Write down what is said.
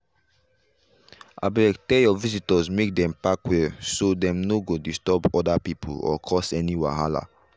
abeg tell your visitors make dem park well so dem no go disturb other people or cause any wahala